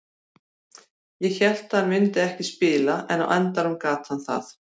Ég hélt að hann myndi ekki spila en á endanum gat hann það.